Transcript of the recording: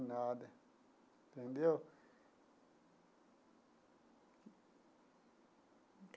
Nada entendeu?